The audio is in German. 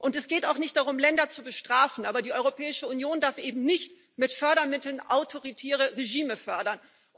Es geht auch nicht darum, Länder zu bestrafen, aber die Europäische Union darf eben nicht mit Fördermitteln autoritäre Regime fördern.